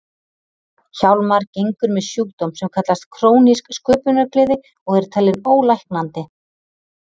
Hjálmar gengur með sjúkdóm sem kallast krónísk sköpunargleði og er talinn ólæknandi.